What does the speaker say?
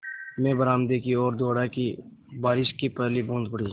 मैं बरामदे की ओर दौड़ा कि बारिश की पहली बूँद पड़ी